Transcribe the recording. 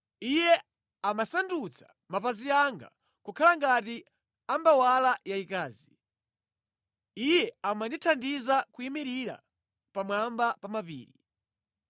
Iye amasandutsa mapazi anga kukhala ngati ambawala yayikazi; Iye amandithandiza kuyimirira pamwamba pa mapiri.